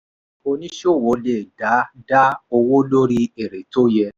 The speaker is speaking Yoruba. onísòwò le dá dá owó lórí èrè tó yẹ.